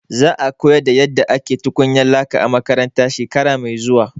Za a koyar da yadda ake tukwanan laka a makaranta shekara mai zuwa.